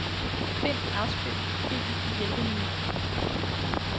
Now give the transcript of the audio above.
Find afspil fil i hjælpemenu.